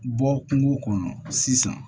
Bɔ kungo kɔnɔ sisan